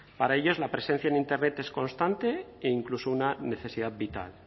para ellos la presencia en internet es constante e incluso una necesidad vital